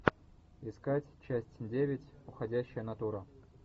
искать часть девять уходящая натура